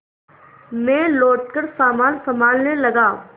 मैं लौटकर सामान सँभालने लगा